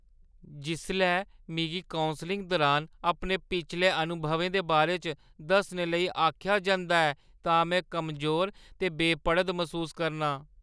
जिसलै मिगी कौंसलिंग दुरान अपने पिछले अनुभवें दे बारे च दस्सने लेई आखेआ जंदा ऐ तां में कमजोर ते बेपड़द मसूस करनां।